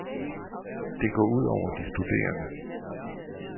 Det går ud over de studerende.